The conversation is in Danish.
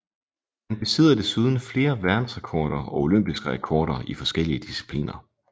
Han besidder desuden flere verdensrekorder og olympiske rekorder i forskellige discipliner